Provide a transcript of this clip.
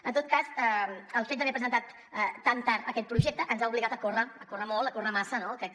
en tot cas el fet d’haver presentat tan tard aquest projecte ens ha obligat a córrer a córrer molt a córrer massa no crec que